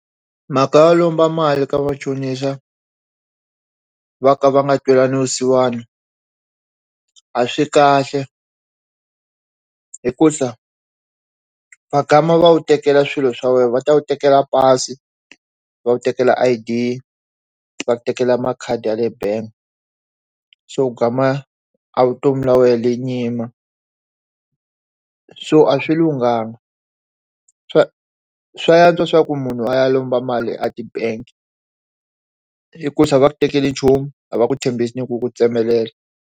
Mhaka yo lomba mali ka machonisa va ka va nga twelani vusiwana a swi kahle hi ku va wu tekela swilo swa wena va ta ku tekela pasi va wu tekela I_D va ku tekela makhadi ya le bangi so kuma a vutomi bya wena byi yima so a swi lunghangi swa swa antswa swa ku munhu a ya lomba mali a ti bangi i ku va ku tekeli nchumu a va ku tshembisi ni ku ku tsemelela.